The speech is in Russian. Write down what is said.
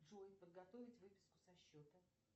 джой подготовить выписку со счета